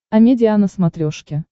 амедиа на смотрешке